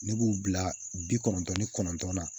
Ne b'u bila bi kɔnɔntɔn ni kɔnɔntɔn na